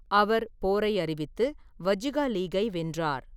அவர் போரை அறிவித்து வஜ்ஜிகா லீக்கை வென்றார்.